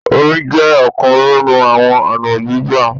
Omi jẹ́ ọ̀kan nínú àwọn ọ̀nà gbígbà.